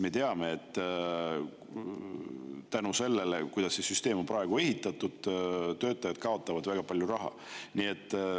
Me teame, et selle tõttu, kuidas see süsteem on praegu üles ehitatud, töötajad kaotavad väga palju raha.